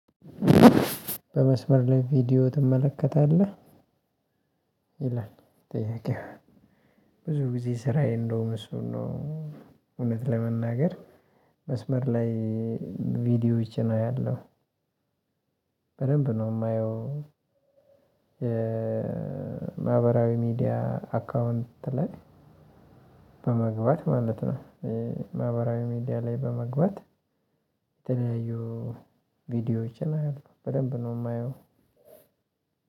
በመስመር ላይ ቪዲዮ ትመለከታለህ? ይላል ጥያቄ ብዙ ጊዜ ስራዬ እንደውም እሱ ነው እውነት ለመናገር መስመር ላይ ቪዲዮዎች አያለሁ በደንብ ነው የማየው ማህበራዊ ሚዲያ አካውንት ላይ በመግባት ማለት ነው። ማህበራዊ ሚዲያ ላይ በመግባት የተለያዩ ቪዲዮዎችን አያለሁ በደንብ ነው የማየው።